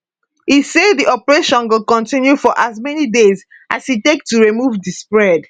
e say di operation go continue for as many days as e take to remove di spread